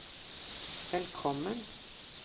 velkommen